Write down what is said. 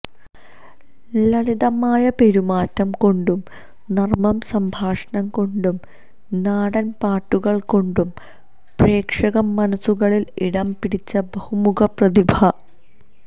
ലളിതമായ പെരുമാറ്റം കൊണ്ടും നര്മ്മ സംഭാഷണം കൊണ്ടും നാടന് പാട്ടുകള് കൊണ്ടും പ്രേക്ഷക മനസുകളില് ഇടം പിടിച്ച ബഹുമുഖ പ്രതിഭ